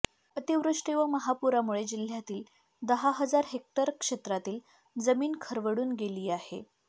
अतिवृष्टी व महापुरामुळे जिल्हय़ातील दहा हजार हेक्टर क्षेत्रातील जमीन खरवडून गेली आहे